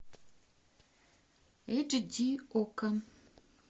эйч ди окко